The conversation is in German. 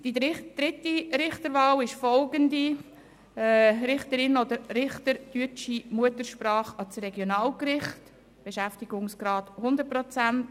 Die dritte Richterwahl betrifft eine Richterin oder einen Richter deutscher Muttersprache für das Regionalgericht, mit einem Beschäftigungsgrad von 100 Prozent.